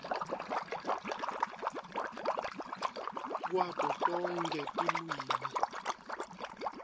kwato tonkhe tilwimi